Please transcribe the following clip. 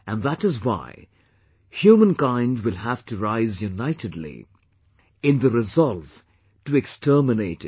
And that is why humankind will have to rise unitedly, in the resolve to exterminate it